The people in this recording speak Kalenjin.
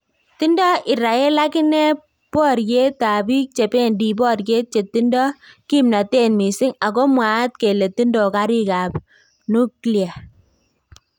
Tindo Irael akinee bororyet ab biik chebendi boryet chetindo kimnatet missing ako mwaat kele tindo kariik ab nuklia